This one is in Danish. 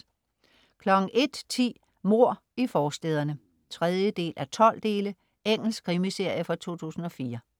01.10 Mord i forstæderne. 3:12 Engelsk krimiserie fra 2004